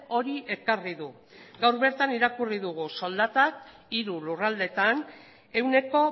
hori ekarri du gaur bertan irakurri dugu soldatak hiru lurraldeetan ehuneko